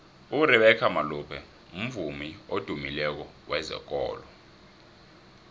urebecca malope mvumi odymileko wezekolo